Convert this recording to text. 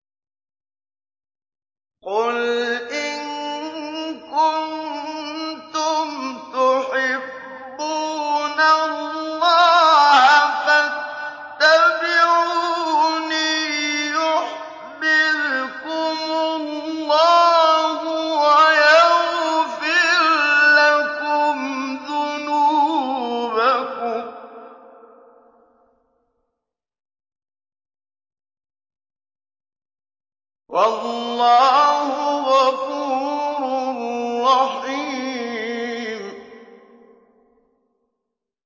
قُلْ إِن كُنتُمْ تُحِبُّونَ اللَّهَ فَاتَّبِعُونِي يُحْبِبْكُمُ اللَّهُ وَيَغْفِرْ لَكُمْ ذُنُوبَكُمْ ۗ وَاللَّهُ غَفُورٌ رَّحِيمٌ